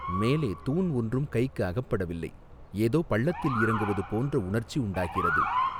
மேலே தூண் ஒன்றும் கைக்கு அகப்படவில்லை ஏதோ பள்ளத்தில் இறங்குவது போன்ற உணர்ச்சி உண்டாகிறது.